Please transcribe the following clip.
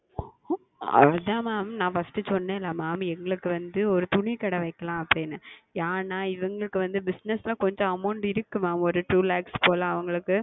அது தான் Mam நான் First சொன்னேன் அல்லவா Mam எங்களுக்கு வந்து ஓர் துணி கடை வைக்கலாம் என்று அப்படி என்று ஏனால் இவங்களுக்கு வந்து Business கொஞ்சம் Amount இருக்கிறது Mam ஓர் Two Lakhs போல் அவங்களுக்கு